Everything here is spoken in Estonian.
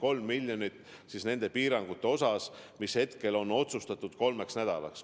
On 3 miljonit nende piirangute hüvitamiseks, mis hetkel on otsustatud kehtestada kolmeks nädalaks.